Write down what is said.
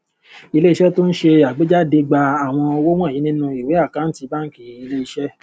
ilé iṣẹ tó n ṣe àgbéjáde gba àwọn owó wọnyí nínú ìwé àkántì bánkì ilé iṣé